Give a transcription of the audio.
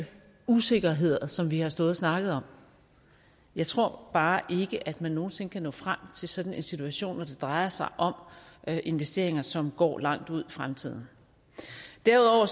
usikkerheder som vi har stået og snakket om jeg tror bare ikke at man nogen sinde kan nå frem til sådan en situation når det drejer sig om investeringer som går langt ud i fremtiden derudover